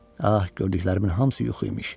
Ah, gördüklərimin hamısı yuxu imiş.